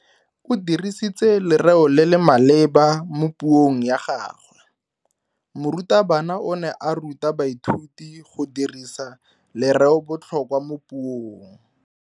O dirisitse lereo le le maleba mo puong ya gagwe. Morutabana o ne a ruta baithuti go dirisa lereobotlhokwa mo puong.